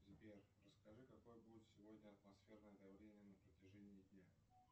сбер расскажи какое будет сегодня атмосферное давление на протяжении дня